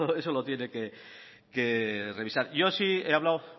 eso lo tiene que revisar yo sí he hablado